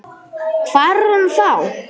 Hvar er hún þá?